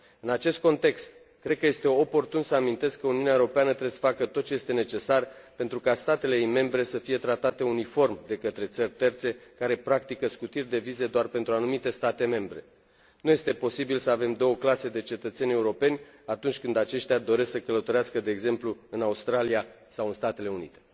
În acest context, cred că este oportun să amintesc că Uniunea Europeană trebuie să facă tot ce este necesar pentru ca statele ei membre să fie tratate uniform de către țări terțe care practică scutiri de viză doar pentru anumite state membre. Nu este posibil să avem două clase de cetățeni europeni atunci când aceștia doresc să călătorească de exemplu în Australia sau în Statele Unite.